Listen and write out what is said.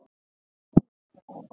Þú já.